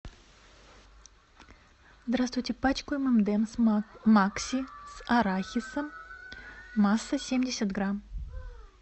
здравствуйте пачку эм энд эмс макси с арахисом масса семьдесят грамм